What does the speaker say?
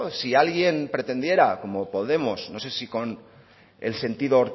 si alguien pretendiera como podemos no sé si con el sentido